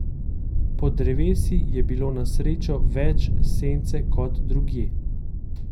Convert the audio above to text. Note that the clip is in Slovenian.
Pod drevesi je bilo na srečo več sence kot drugje.